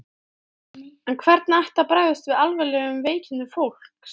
En hvernig ætti að bregðast við alvarlegum veikindum fólks?